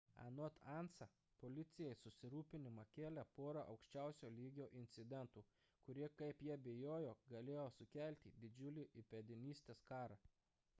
anot ansa policijai susirūpinimą kėlė pora aukščiausio lygio incidentų kurie kaip jie bijojo galėjo sukelti didžiulį įpėdinystės karą